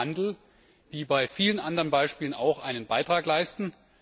Und da kann Handel wie bei vielen anderen Beispielen auch einen Beitrag leisten.